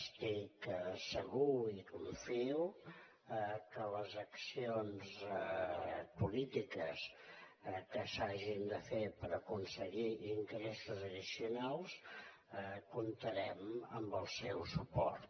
estic segur i confio que en les accions polítiques que s’hagin de fer per aconseguir ingressos addicionals comptarem amb el seu suport